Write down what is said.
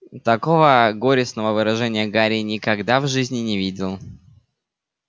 такого горестного выражения гарри никогда в жизни не видел